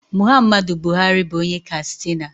Muhammadu Buhari bụ onye Kastina